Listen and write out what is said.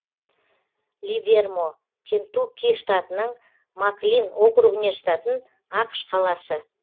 ливермо кентукки штатының маклин округіне жататын ақш қаласы